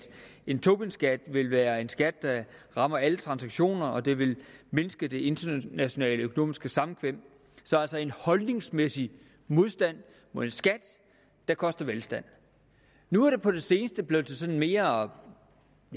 en tobinskat vil være en skat der rammer alle transaktioner og det vil mindske det internationale økonomiske samkvem altså en holdningsmæssig modstand mod en skat der koster velstand nu er det på det seneste blevet sådan lidt mere